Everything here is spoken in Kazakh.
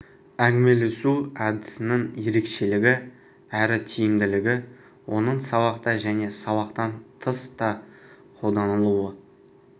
әңгімелесу әдісінің ерекшелігі әрі тиімділігі оның сабақта және сабақтан тыс та қолданылылуы